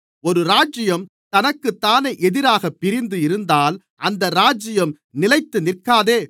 ஒரு ராஜ்யம் தனக்குத்தானே எதிராகப் பிரிந்து இருந்தால் அந்த ராஜ்யம் நிலைத்துநிற்காதே